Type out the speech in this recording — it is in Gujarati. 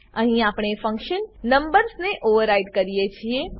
અહીં આપણે ફંક્શન નંબર્સ ને ઓવરરાઈડ કરીએ છીએ